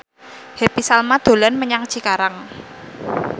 Happy Salma dolan menyang Cikarang